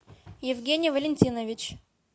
евгений валентинович